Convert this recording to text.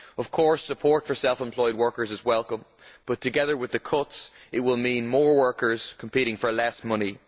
Of course support for self employed workers is welcome, but together with the cuts it will mean more workers competing for less money.